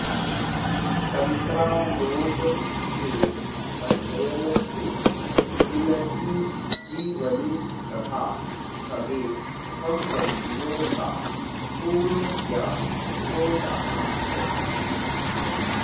तन्त्रालोक के अध्ययन से इनकी जीवनी तथा सगे सम्बन्धियों का पूर्ण ज्ञान हो जाता है